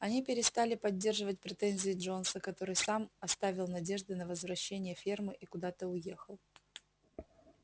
они перестали поддерживать претензии джонса который сам оставил надежды на возвращение фермы и куда-то уехал